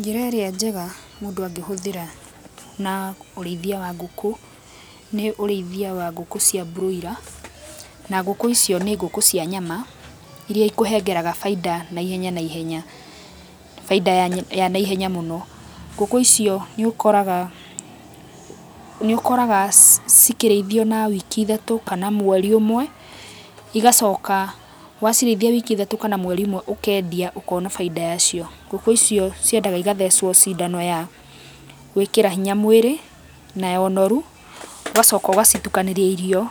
Njĩra ĩrĩa njega mũndũ angĩhũthĩra na ũrĩithia wa ngũkũ nĩ ũrĩithia wa ngũkũ cia broiler , na ngũkũ icio nĩ ngũkũ cia nyama iria ikũhengeraga bainda naihenya naihenya, bainda ya naihenya mũno. Ngũkũ icio nĩ ũkoraga, nĩ ũkoraga cikĩrĩithio na wiki ithatũ kana mweri ũmwe igacoka wacirĩithia wiki ithatũ kana mweri ũmwe ũkendia ũkona bainda yacio. Ngũkũ icio ciendaga igathecwo cindano ya gũĩkĩra hinya mwĩrĩ na ya ũnoru, ũgacoka ũgacitukanĩria irio